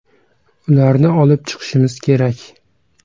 Ularni olib chiqishimiz kerak”.